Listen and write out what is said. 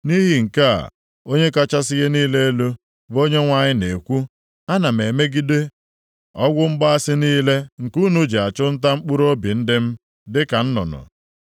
“ ‘Nʼihi nke a, Onye kachasị ihe niile elu, bụ Onyenwe anyị na-ekwu, ana m emegide ọgwụ mgbaasị niile nke unu ji achụ nta mkpụrụobi ndị m dịka nnụnụ. Aga m adọwapụ ha site nʼaka unu, napụtakwa ndị m, bụ ndị unu ji nʼọnya dị ka nnụnụ e tinyere nʼụlọ akpara akpa.